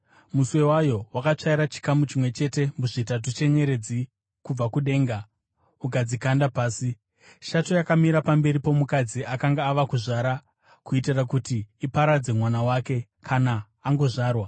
Muswe wayo wakatsvaira chikamu chimwe chete muzvitatu chenyeredzi kubva kudenga ukadzikanda pasi. Shato yakamira pamberi pomukadzi akanga ava kuzvara, kuitira kuti iparadze mwana wake kana angozvarwa.